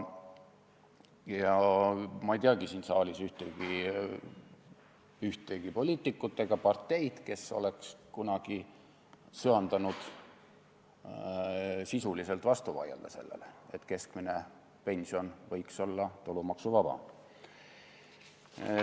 Ma ei tea siin saalis ühtegi poliitikut ega parteid, kes oleks kunagi söandanud sisuliselt vastu vaielda sellele, et keskmine pension võiks olla tulumaksuvaba.